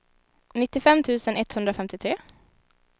nittiofem tusen etthundrafemtiotre